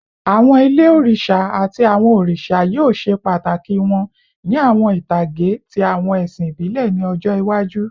Awọn ile oriṣa ati awọn oriṣa yoo ṣe pataki wọn ni awọn itage ti awọn ẹsin ibile ni ọjọ iwaju